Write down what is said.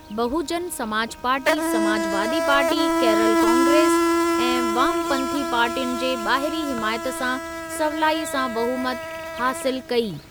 बहुजन Samaj Party, Samajwadi Party, Kerala Congress ऐं वामपंथी पार्टियुनि जे ॿाहिरीं हिमायत सां सवलाईअ सां बहुमत हासिल कई।